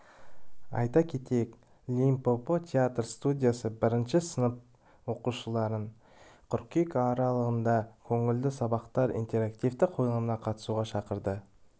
айта кетейік лим-по-по театр студиясы бірінші сынып оқушыларын қыркүйек аралығында көңілді сабақтар интерактивті қойылымына қатысуға шақырады